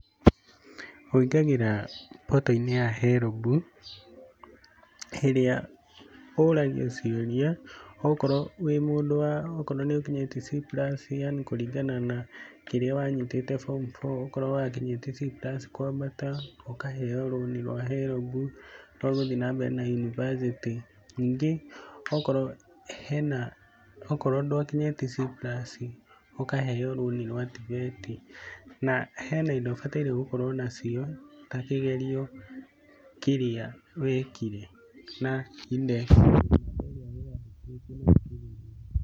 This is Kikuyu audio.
Ũingagĩra portal-inĩ ya herombu, ĩrĩa ũragio ciũria okorwo wĩ mundũ wa okorwo nĩ ũkinyĩtie C+, yani kũringana na kĩrĩa wanyitĩte form four, okorwo nĩ wakinyĩtie C+ kwambata, ũkaheo rũni rwa herombu rwa gũthiĩ na mbere na yunibacĩtĩ. ningĩ okorwo hena, okorwo ndwakinyĩtie C+ ũkaheo rũni rwa TVET. Na hena indo ũbataire gũkorwo nacio, ta kĩgerio kĩrĩa wekire na index ĩrĩa weyandĩkithĩtie nayo kĩgerio kĩu.